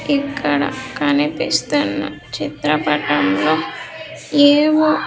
ఇక్కడ కనిపిస్తున్న చిత్రపటంలో ఏవో.